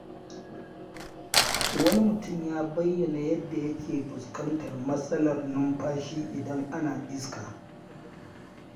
Wani mutum ya bayyana yadda yake fuskantar matsalar numfashi idan ana iska.